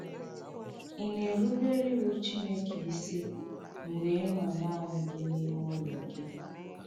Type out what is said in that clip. Ị̀ na-erùbèrè iwù Chìnèkè isì mgbe ị̀ nọ̀ nanị gị n’ime ụlọ gị?